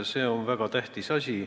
See on väga tähtis asi.